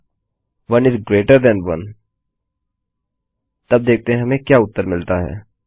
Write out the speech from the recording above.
if 1 GT 1 तब देखते हैं कि हमें क्या उत्तर मिलता है